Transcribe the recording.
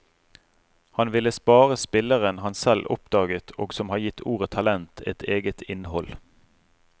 Han ville spare spilleren han selv oppdaget og som har gitt ordet talent et eget innhold.